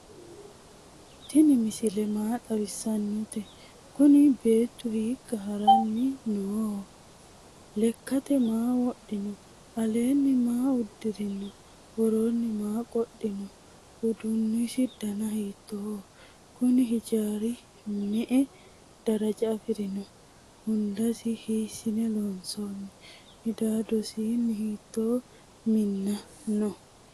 tiini misile maa xawisate? kuuni beetu hikka haranni noho? lekate maa wodhino? allenni maa udirino? woronni maa qodhino? uddunisi dana hittoho? kuuni ijari me" e daaraja afirino? hundasi hisine lonsoni? midadoseeni hitto mina no?